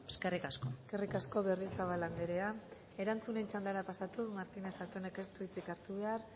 eskerrik asko eskerrik asko berriozabal anderea erantzunen txandara pasatuz martínez zatonek ez du hitzik hartu behar